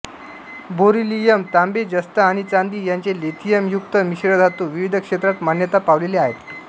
beryllium तांबे जस्त आणि चांदी यांचे लिथियम युक्त मिश्रधातू विविध क्षेत्रात मान्यता पावलेले आहेत